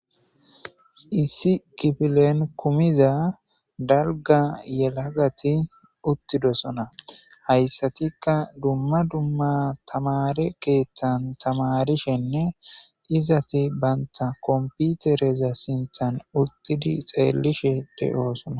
Issi kifileni kumiza daliga yelagati utidosona hayisatikka dumma dumma tamareta keththani tamarisishenne izeti banitappe kompoitereza sinthani utidi xeelishe deosoona